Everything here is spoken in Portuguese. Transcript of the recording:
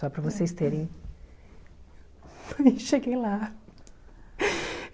Só para vocês terem... Cheguei lá.